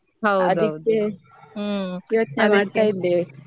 ಅದ್ಕೆ ನಾನ್ ಯೋಚ್ನೆ ಮಾಡ್ತಾ ಇದ್ದೆ.